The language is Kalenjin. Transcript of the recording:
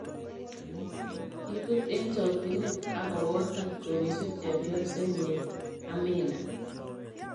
Kiibut eng chokchine akobotan kowisu chepyose nyi Amina,